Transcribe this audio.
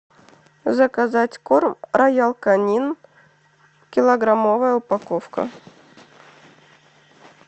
заказать корм роял канин килограммовая упаковка